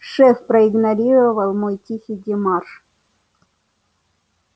шеф проигнорировал мой тихий демарш